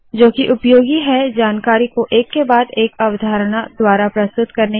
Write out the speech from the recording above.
जोकि उपयोगी है जानकारी को एक के बाद एक अवधारणा द्वारा प्रस्तुत करना